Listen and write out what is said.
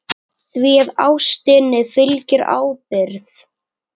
Því að ástinni fylgir ábyrgð.